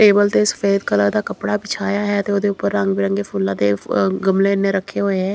Table ਤੇ ਸਫੈਦ colour ਦਾ ਕੱਪੜਾ ਵਿਛਾਇਆ ਹੈ ਤੇ ਉਹਦੇ ਉੱਪਰ ਰੰਗ ਬਿਰੰਗੇ ਫੁੱਲਾਂ ਦੇ ਗਮਲੇ ਨੇ ਰੱਖੇ ਹੋਏ ਹੈ।